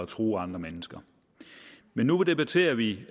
true andre mennesker men nu debatterer vi